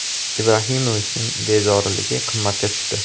Ibrahimovichning bezoriligi qimmatga tushdi.